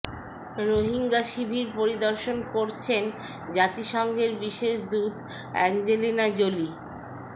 রোহিঙ্গা শিবির পরিদর্শন করছেন জাতিসংঘের বিশেষ দূত অ্যাঞ্জেলিনা জোলি